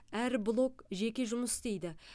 әр блок жеке жұмыс істейді